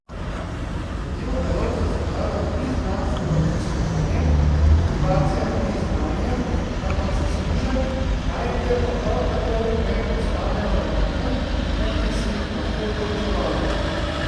Trdijo, da lov za zakladom ni znanstveno raziskovanje, motivacija ni znanje, ampak zaslužek, najdbe pa prav tako ne ostanejo enotne, da bi se jih lahko proučevalo.